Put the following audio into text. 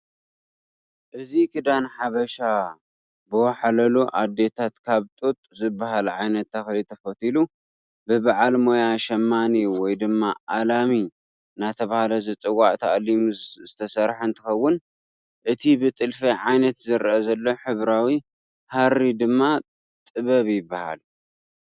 እዚ ክዳን ሓበሻ ብወሓላሉ አዶታት ካብ ጡጥ ዝበሃል ዓይነት ተኽሊ ተፈቲሉ ብበዓል ሞያ ሸማኒ ወይ ድማ አላሚ እናተባህለ ዝፅዋዕ ተአሊሙ ዝተሰርሐ እንትኸውን እቲ ብጥልፊ ዓይነት ዝርአ ዘሎ ሕብራዊ ሃሪ ድማ ጥበብ ይበሃል፡፡